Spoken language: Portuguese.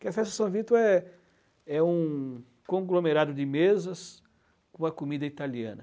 Porque a festa de São Vítor é é um conglomerado de mesas com a comida italiana.